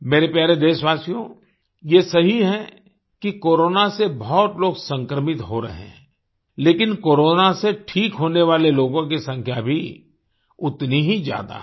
मेरे प्यारे देशवासियो ये सही है कि कोरोना से बहुत लोग संक्रमित हो रहे हैं लेकिन कोरोना से ठीक होने वाले लोगों की संख्या भी उतनी ही ज्यादा है